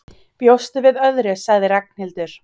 Bjóstu við öðru? sagði Ragnhildur.